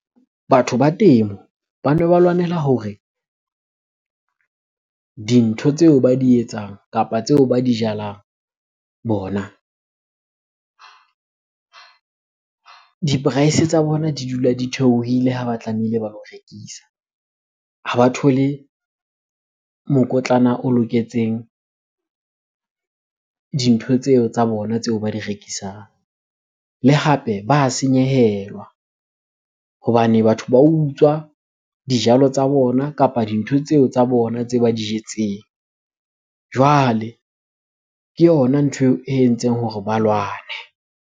Batho ba temo bane ba lwanela hore dintho tseo ba di etsang kapa tseo ba di jalang bona, di-price tsa bona di dula di theohile ha ba tlameile ba lo rekisa. Ha ba thole mokotlana o loketseng dintho tseo tsa bona tseo ba di rekisang. Le hape ba senyehelwa hobane batho ba utswa dijalo tsa bona kapa dintho tseo tsa bona tse ba di jetseng. Jwale ke yona ntho e entseng hore ba lwane.